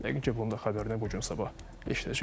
Yəqin ki, bunun da xəbərini bu gün sabah eşidəcəyik.